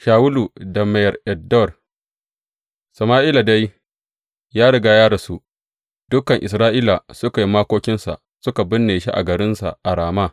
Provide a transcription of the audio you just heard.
Shawulu da Maiyar En Dor Sama’ila dai ya riga ya rasu, dukan Isra’ila suka yi makokinsa suka binne shi a garinsa a Rama.